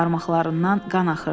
Barmaqlarından qan axırdı.